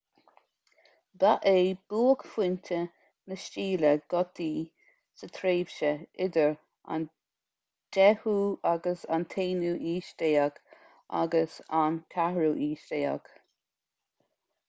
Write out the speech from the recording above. ba é buaicphointe na stíle gotaí sa tréimhse idir an 10ú - 11ú haois agus an 14ú haois